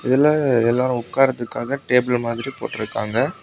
இதுல எல்லா உட்காருத்துக்காக டேபிள் மாதிரி போட்டு இருக்காங்க.